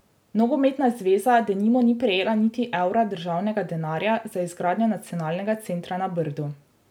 Nogometna zveza denimo ni prejela niti evra državnega denarja za izgradnjo nacionalnega centra na Brdu.